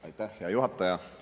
Aitäh, hea juhataja!